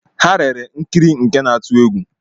Ha lere nkiri nke na-atụ egwu